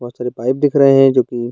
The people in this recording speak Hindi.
बहोत सारी पाइप दिख रहे हैं जो कि --